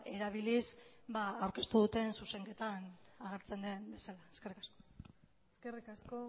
erabiliz aurkeztu duten zuzenketan agertzen den bezala eskerrik asko eskerrik asko